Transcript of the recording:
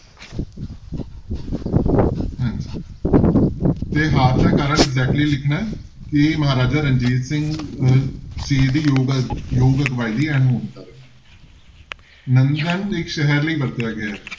ਹਾਂਜੀ ਤੇ ਹਾਰ ਦਾ ਕਾਰਨ exactly ਲਿਖਣਾ ਹੈ ਕਿ ਮਹਾਰਾਜਾ ਰਣਜੀਤ ਸਿੰਘ ਅਹ ਜੀ ਦੀ ਯੋਗ, ਯੋਗ ਅਗਵਾਈ ਦੀ ਅਣਹੋਂਦ ਕਾਰਨ ਨੰਦਨ ਇੱਕ ਸ਼ਹਿਰ ਲਈ ਵਰਤਿਆ ਗਿਆ ਹੈ।